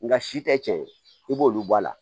Nka si tɛ tiɲɛ ye i b'olu bɔ a la